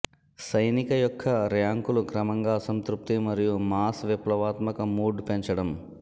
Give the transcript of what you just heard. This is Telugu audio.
సైనిక యొక్క ర్యాంకులు క్రమంగా అసంతృప్తి మరియు మాస్ విప్లవాత్మక మూడ్ పెంచడం